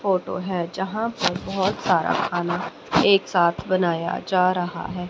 Photo है जहां पर बहोत सारा खान एक साथ बनाया जा रहा है।